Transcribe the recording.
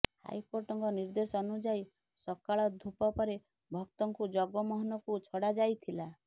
ହାଇକୋର୍ଟଙ୍କ ନିର୍ଦ୍ଦେଶ ଅନୁଯାୟୀ ସକାଳ ଧୂପ ପରେ ଭକ୍ତଙ୍କୁ ଜଗମୋହନକୁ ଛଡ଼ାଯାଇଥିଲା